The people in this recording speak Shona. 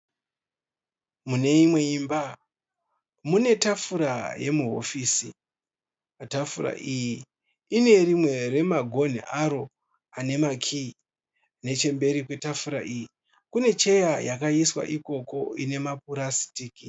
Mune imwe imba, mune tafura yemuhofisi. Tafura iyi ine rimwe remagonhi aro ane makiyi. Nechemberi kwetafura iyi kune cheya yakaiswa ikoko ine mapurasitiki